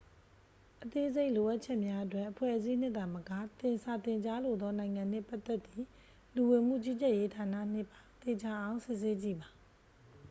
အသေးစိတ်လိုအပ်ချက်များအတွက် အဖွဲ့အစည်းနှင့်သာမက သင် စာသင်ကြားလိုသောနိုင်ငံနှင့်ပတ်သက်သည့် လူဝင်မှုကြီးကြပ်ရေးဌာနနှင့်ပါ သေချာအောင်စစ်ဆေးကြည့်ပါ